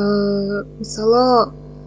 ыыы мысалы